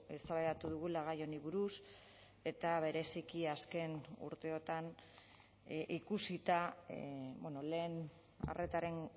eztabaidatu dugula gai honi buruz eta bereziki azken urteotan ikusita lehen arretaren